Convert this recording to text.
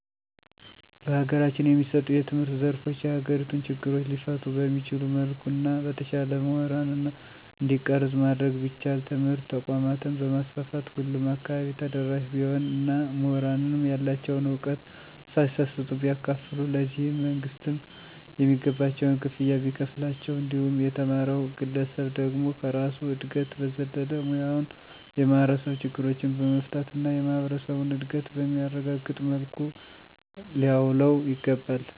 በሀገራችን የሚሰጡ የትምህርት ዘርፎች የሀገሪቱን ችግሮች ሊፈቱ በሚችል መልኩ እና በተሻለ ሙሁራን እንዲቀረጽ ማድረግ ቢቻል. ትምህርት ተቋማትን በማስፋፋት ሁሉም አካባቢ ተደራሽ ቢሆን እና ሙሁራንም ያላቸዉን ዕውቀት ሳይሰስቱ ቢያካፉሉ ,ለዚህም መንግስትም የሚገባቸውን ክፍያ ቢከፍላቸው እንዲሁም የተማረዉ ግለሰብ ደግሞ ከራሱ እድገት በዘለለ ሙያዉን የማህበረሰብ ችግሮችን በመፍታት እና የማህበረሰቡን እድገት በሚያረጋግጥ መልኩ ሊያዉለዉ ይገባል።